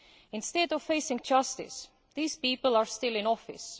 Instead of facing justice, these people are still in office.